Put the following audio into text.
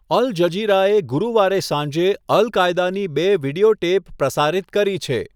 અલ જઝીરાએ ગુરુવારે સાંજે અલ કાયદાની બે વિડિયો ટેપ પ્રસારિત કરી છે.